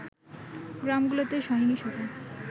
গ্রামগুলোতে সহিংসতা